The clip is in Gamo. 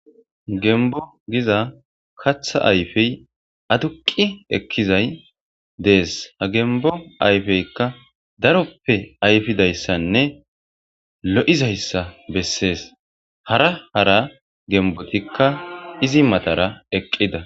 Gembbo giza kaththa ayfeyi aduqqi ekkizayi dees. Ha gembbo ayfeykka daroppe ayfidayssanne lo'izayssa bessesi.